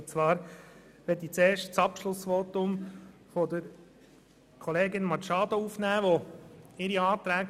Zuerst möchte ich das Abschlussvotum von Kollegin Machado aufnehmen.